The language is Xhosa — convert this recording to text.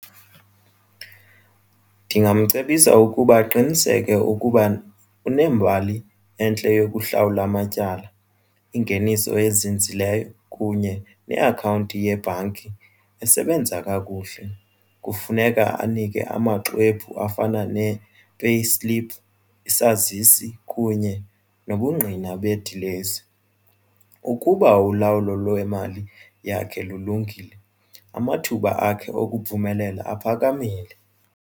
Ndingamcebisa ukuba aqiniseke ukuba unembali entle yokuhlawula amatyala ingeniso ezinzileyo kunye neakhawunti yebhanki esebenza kakuhle. Kufuneka kugqirha anike amaxwebhu afana ne-payslip isazisi kunye nobungqina bedilesi. Ukuba ulawulo lwemali yakhe lulungile amathuba akhe okuphumelela aphakamile.